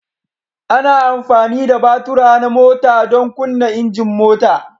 Ana amfani da batura na mota don kunna injin mota.